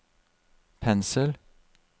pensel